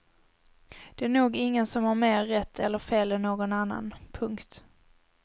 Det är nog ingen som har mer rätt eller fel än någon annan. punkt